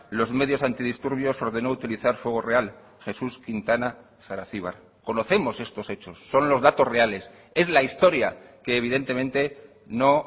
los medios antidisturbios ordenó utilizar fuego real jesús quintana saracibar conocemos estos hechos son los datos reales es la historia que evidentemente no